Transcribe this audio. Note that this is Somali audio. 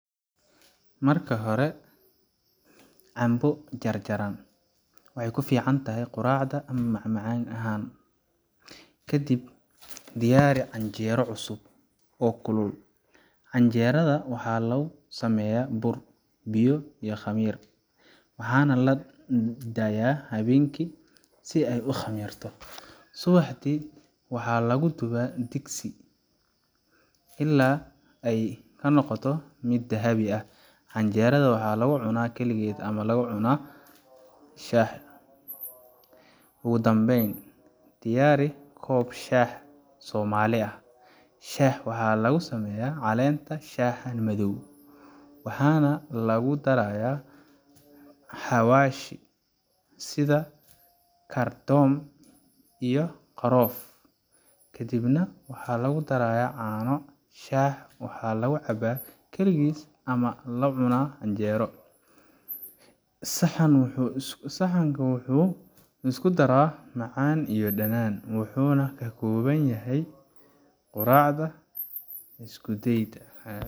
markahore cambo jar jaran waxay ku ficantahay quracda ama mac macaan ahan kadib diyaari canjeero cusub oo kulil canjeeradu waxaa lagu sameya bur biyo iyo khamir waxaa nah ladayaa hawenki si ay u khamirto subaxdi waxaa lagu dhubaa digsi ila y kanoqoto mid dhahabi ah camjeada waxaa lagu cunaa keligeet ama lagucunaa shaah ugu dhambeyn diyaari kob shah somali ah shaaha waxaa lagu sameya calenta shaan madow waxaana lagu darayaa xawaashi sida kardon iyo qarof kadib nah waxaa lagui darayaa caano shaah waxaa lagu cabaa keligis ama lacuna canjero saxan waxuu isku daraa amacan iyo dhanan waxuna ka koabn yahay quracnda iskudeyda